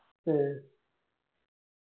ആ